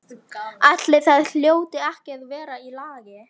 Ætli það hljóti ekki að vera í lagi.